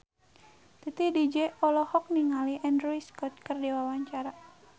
Titi DJ olohok ningali Andrew Scott keur diwawancara